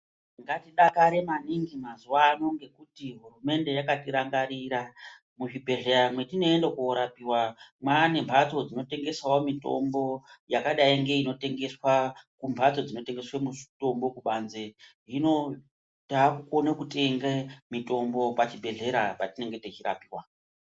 Ngatidakare maningi mazuva ano ngekuti hurumende yakatirangarira. Muzvibhedhleya mwetinoende korapiva mava nemhatso dzinotengesavo mitombo yakadai ngeinotengeswa kumhatso dzinotengesa mitombo panze. Hino takukona kutenge mitombo pachibhedhlera patinenge tichirapiva.